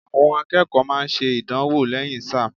Àwọn akẹ́kọ̀ọ́ máa ń ṣe ìdánwò lẹ́yìn sáà.